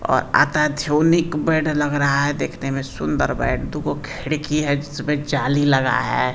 और बेड लग रहा है देखने में सुंदर बेड दुगो खिड़की है जिसमें जाली लगा है।